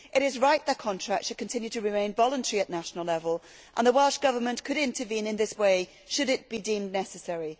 It is right that contracts should continue to remain voluntary at national level, and the Welsh Government could intervene in this way should that be deemed necessary.